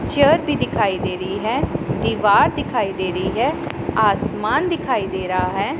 Chair भी दिखाई दे रही है दीवार दिखाई दे रही है आसमान दिखाई दे रहा है।